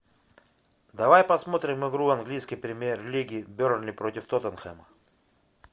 давай посмотрим игру английской премьер лиги бернли против тоттенхэма